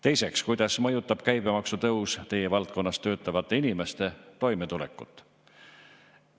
Teiseks, kuidas mõjutab käibemaksu tõus teie valdkonnas töötavate inimeste toimetulekut?